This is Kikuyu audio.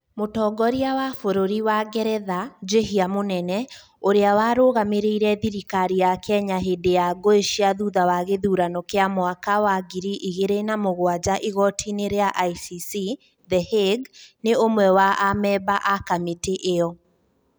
Mũtongoria wa bũrũri wa Ngeretha, Njihia Munene, ũrĩa warũgamĩrĩire thirikari ya Kenya hĩndĩ ya ngũĩ cia thutha wa gĩthurano kĩa mwaka wa ngiri igĩrĩ na mũgwanja igoti-inĩ rĩa ICC, The Hague, nĩ ũmwe wa amemba a kamĩtĩ ĩyo.